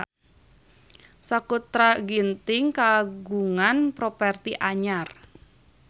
Sakutra Ginting kagungan properti anyar